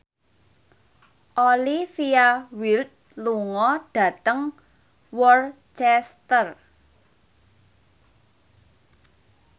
Olivia Wilde lunga dhateng Worcester